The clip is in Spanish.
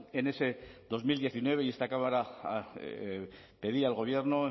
en ese dos mil diecinueve y esta cámara pedía al gobierno